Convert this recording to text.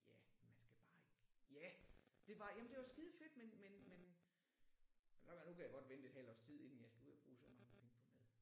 Ja man skal bare ikke ja det var jamen det var skidefedt men men men kan godt mærke nu kan jeg godt vente et halvt års tid inden jeg skal ud og bruge så mange penge på mad